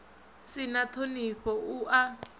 si na ṱhonifho u a